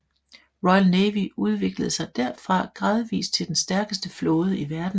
Royal Navy udviklede sig herfra gradvist til den stærkeste flåde i verden